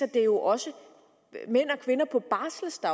det er jo også mænd